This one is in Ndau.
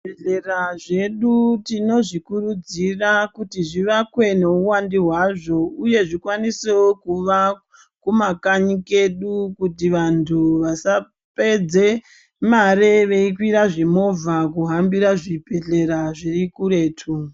Zvibhedhlera zvedu tinozvikurudzira kuti zvivakwe neuvandu hwazo, uye zvikwanisevo kuva kumakanyi kedu kuti vantu vasapedze mare veikwira zvimovha veihambira zvibhedhlera zvirikuretu.